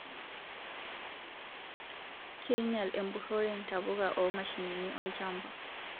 Keinyal empurore ntapuka oo mashinini olchamba